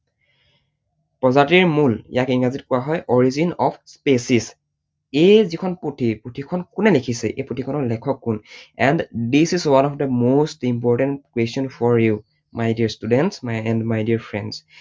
প্ৰজাতিৰ মূল ইয়াক ইংৰাজীত কোৱা হয় origin of species । এই যিখন পুথি, পুথিখন কোনে লিখিছে? এই পুথিখনৰ লিখক কোন and this is one of the most important question for you my dear students and my dear friends ।